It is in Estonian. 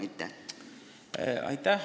Aitäh!